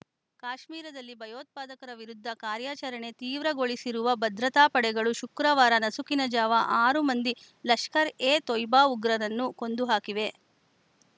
ಕಾಶ್ಮೀರದಲ್ಲಿ ಭಯೋತ್ಪಾದಕರ ವಿರುದ್ಧ ಕಾರ್ಯಾಚರಣೆ ತೀವ್ರಗೊಳಿಸಿರುವ ಭದ್ರತಾ ಪಡೆಗಳು ಶುಕ್ರವಾರ ನಸುಕಿನ ಜಾವ ಆರು ಮಂದಿ ಲಷ್ಕರ್‌ ಎ ತೊಯ್ಬಾ ಉಗ್ರರನ್ನು ಕೊಂದು ಹಾಕಿವೆ